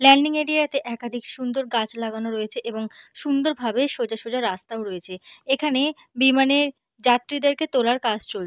landing area - তে একাধিক সুন্দর গাছ লাগানো রয়েছে এবং সুন্দর ভাবে সোজা সোজা রাস্তাও রয়েছে এইখানে বিমানে যাত্রীদেরকে তোলার কাজ চল--